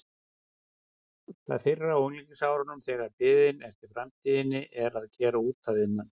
Það fyrra á unglingsárunum þegar biðin eftir framtíðinni er að gera út af við mann.